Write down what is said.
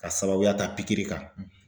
Ka sababuya ta pikiri kan um]